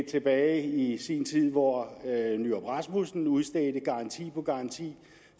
tilbage i sin tid hvor poul nyrup rasmussen udstedte garanti på garanti